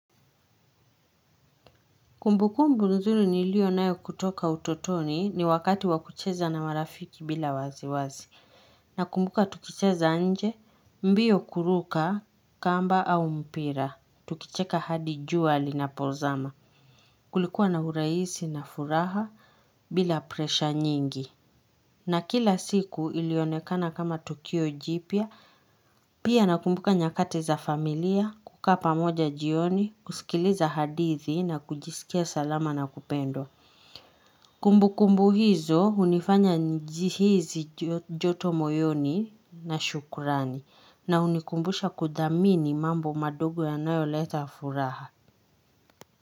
Kumbukumbu nzuri nilio nayo kutoka utotoni ni wakati wakucheza na marafiki bila waziwazi. Na kumbuka tukucheza nje, mbio kuruka, kamba au mpira. Tukicheka hadi jua lina pozama. Kulikuwa na uraisi na furaha bila presha nyingi. Na kila siku ilionekana kama Tukio Jipya. Pia nakumbuka nyakati za familia, kukaa pamoja jioni, kusikiliza hadithi na kujisikia salama na kupendwa. Kumbu kumbu hizo unifanya njihizi joto moyoni na shukurani na unikumbusha kudhamini mambo madogo yanayo leta furaha.